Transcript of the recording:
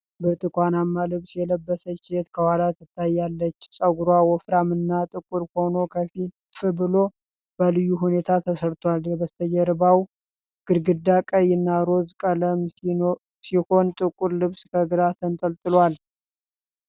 ብርቱካንማ ልብስ የለበሰች ሴት ከኋላ ትታያለች። ፀጉሯ ወፍራም እና ጥቁር ሆኖ ከፍ ብሎ በልዩ ሁኔታ ተሰርቷል። የበስተጀርባው ግድግዳ ቀይ እና ሮዝ ቀለም ሲሆን ጥቁር ልብስ ከግራ ተንጠልጥሏል።